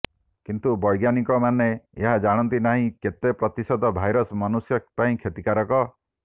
କିନ୍ତୁ ବୈଜ୍ଞାନିକମାନେ ଏହା ଜାଣନ୍ତି ନାହିଁ କେତେ ପ୍ରତିଶତ ଭାଇରସ୍ ମନ୍ୟୁଷ ପାଇଁ କ୍ଷତିକାରକ